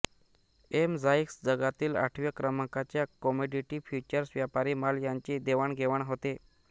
MCX जगातील आठव्या क्रमांकाच्या कमोडिटी फ्यूचर्स व्यापारी माल यांची देवाणघेवाण होते